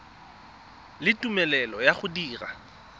le tumelelo ya go dira